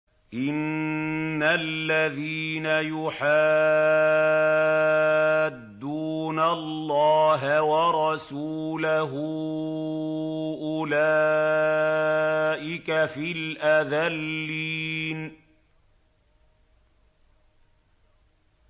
إِنَّ الَّذِينَ يُحَادُّونَ اللَّهَ وَرَسُولَهُ أُولَٰئِكَ فِي الْأَذَلِّينَ